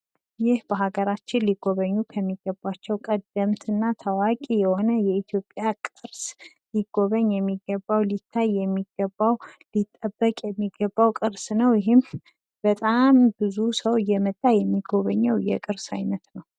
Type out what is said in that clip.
ይህ በሀገራችን ሊጎበኙ ከሚገባቸው ቀደምት እና ታዋቂ የሆነ የኢትዮጵያ ቅርስ ሊጎበኝ የሚገባው ሊታይ የሚገባው ሊጠበቅ የሚገባው ቅርስ ነው። ይህም በጣም ብዙ ሰው እየመጣ የሚጎበኘው የቅርስ አይነት ነው።